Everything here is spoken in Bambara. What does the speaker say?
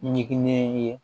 Ɲinɛn ye